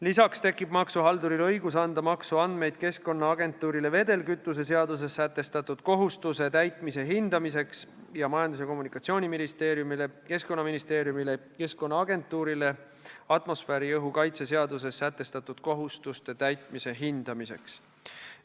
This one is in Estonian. Lisaks tekib maksuhalduril õigus anda maksuandmeid Keskkonnaagentuurile, et seal saadaks hinnata vedelkütuse seaduses sätestatud kohustuste täitmist, samuti Majandus- ja Kommunikatsiooniministeeriumile, Keskkonnaministeeriumile ja Keskkonnaagentuurile atmosfääriõhu kaitse seaduses sätestatud kohustuste täitmise hindamiseks.